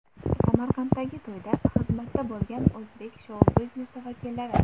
Samarqanddagi to‘yda xizmatda bo‘lgan o‘zbek shou-biznesi vakillari.